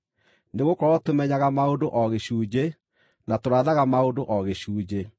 Nĩgũkorwo tũmenyaga maũndũ o gĩcunjĩ, na tũrathaga maũndũ o gĩcunjĩ,